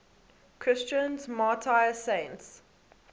christian martyr saints